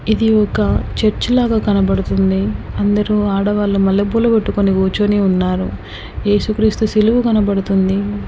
ఇది ఒక చర్చి లాగా కనబడుతుంది అందరూ ఆడవాళ్ళు మల్లె పూలు పెట్టుకుని కూర్చుని ఉన్నారు. ఏసు క్రీస్తు శిలువ కనబడుతుంది.